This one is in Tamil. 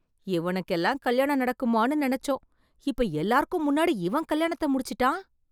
இவனுக்கெல்லாம் கல்யாணம் நடக்குமான்னு நினைச்சோம் இப்ப எல்லாருக்கும் முன்னடி இவன் கல்யாணத்த முடிச்சிட்டான்